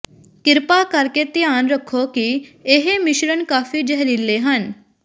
ਕਿਰਪਾ ਕਰਕੇ ਧਿਆਨ ਰੱਖੋ ਕਿ ਇਹ ਮਿਸ਼ਰਣ ਕਾਫ਼ੀ ਜ਼ਹਿਰੀਲੇ ਹਨ